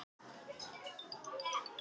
Þóttust menn finna spor hestsins.